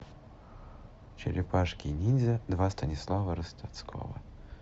черепашки ниндзя два станислава ростоцкого